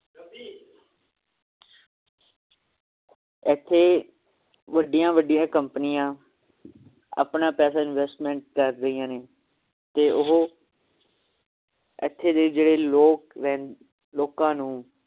ਇਥੇ ਵੱਡੀਆਂ ਵੱਡੀਆਂ ਕਮ੍ਪਨੀਆਂ ਆਪਣਾ ਪੈਸਾ investment ਕਰ ਰਹੀਆਂ ਨੇ ਤੇ ਉਹ ਇਥੇ ਦੇ ਜਿਹੜੇ ਲੋਕ ਰਹਿਨ~ ਲੋਕਾਂ ਨੂੰ